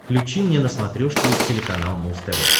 включи мне на смотрешке телеканал муз тв